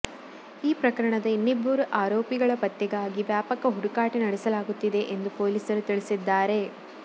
ಈ ಪ್ರಕರಣದ ಇನ್ನಿಬ್ಬರು ಆರೋಪಿಗಳ ಪತ್ತೆಗಾಗಿ ವ್ಯಾಪಕ ಹುಡುಕಾಟ ನಡೆಸಲಾಗುತ್ತಿದೆ ಎಂದು ಪೊಲೀಸರು ತಿಳಿಸಿದ್ದಾರೆ